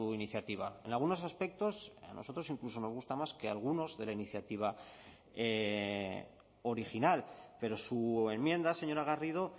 iniciativa en algunos aspectos a nosotros incluso nos gusta más que algunos de la iniciativa original pero su enmienda señora garrido